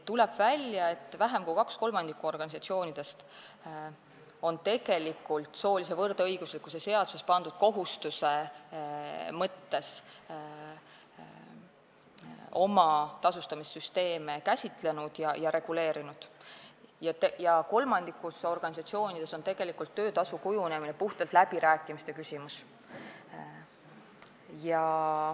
Tuleb välja, et vähem kui kaks kolmandikku organisatsioonidest on tegelikult soolise võrdõiguslikkuse seadusesse pandud kohustuse mõttes oma tasustamissüsteeme käsitlenud ja reguleerinud, kolmandikus organisatsioonides on töötasu kujunemine puhtalt läbirääkimiste küsimus.